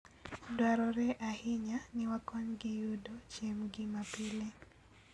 Dwarore ahinya ni wakonygi yudo chiembgi mapile.